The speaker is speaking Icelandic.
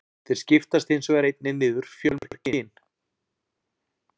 Þeir skiptast hins vegar einnig niður fjölmörg kyn.